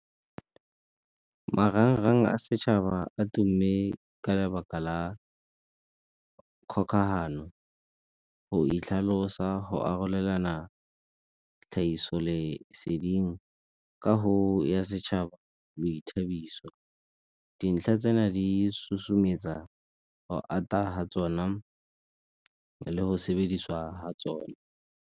marang-rang a setšhaba a tumme ka lebaka la kgokagano, go itlhalosa, go arolelana tlhagiso leseding ka go ya setšhaba boithabiso. Dintlha tsena di susumetsa go ata ga tsona le go sebediswa ga tsona.